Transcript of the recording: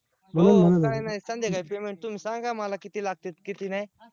हो काय नाय संध्याकाळी payment तुम्ही सांगा मला किती लागत्यात किती नाय